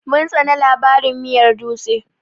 Mun tsane labarin miyar dutse.